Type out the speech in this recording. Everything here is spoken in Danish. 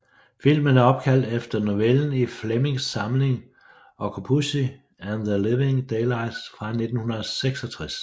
Filmen er opkaldt efter novellen i Flemings samling Octopussy and The Living Daylights fra 1966